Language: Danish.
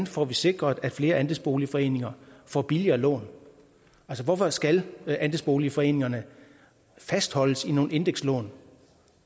får sikret at flere andelsboligforeninger får billigere lån altså hvorfor skal andelsboligforeningerne fastholdes i nogle indekslån